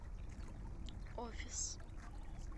офис